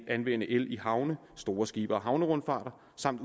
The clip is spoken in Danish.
anvende el i havne store skibe og havnerundfarter